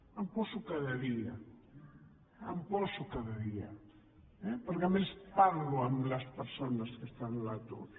m’hi poso cada dia m’hi poso cada dia eh perquè a més parlo amb les persones que estan a l’atur